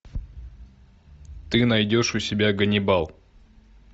ты найдешь у себя ганнибал